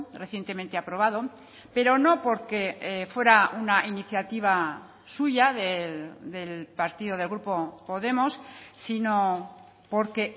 recientemente aprobado pero no porque fuera una iniciativa suya del partido del grupo podemos sino porque